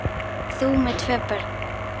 Þú með tvö börn!